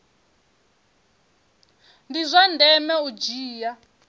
ndi zwa ndeme u dzhia